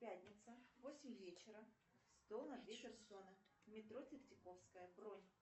пятница восемь вечера стол на две персоны метро третьяковская бронь